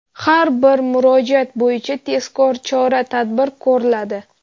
Har bir murojaat bo‘yicha tezkor chora-tadbir ko‘riladi.